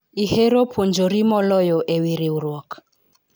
ihero puonjori moloyo ewi riwruok?